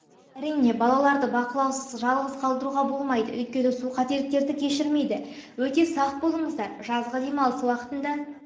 әрине балаларды бақылаусыз жалғыс қалтыруға болмайды өйткені су қателіктерді кешірмейді өте сақ болыңыздар жазғы демалыс уақытында